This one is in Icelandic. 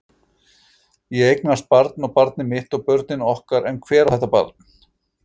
Ég eignast barn og barnið mitt og börnin okkar en hver á þetta barn?